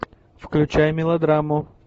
включай мелодраму